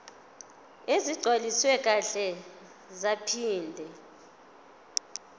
ezigcwaliswe kahle zaphinde